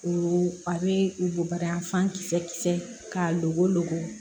O a bɛ u boba yan fan kisɛ kisɛ k'a go